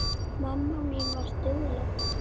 Mamma mín var dugleg.